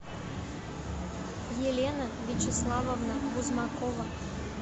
елена вячеславовна бузмакова